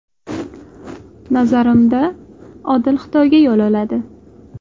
Nazarimda, Odil Xitoyga yo‘l oladi.